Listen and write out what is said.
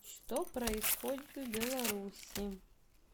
что происходит в беларуси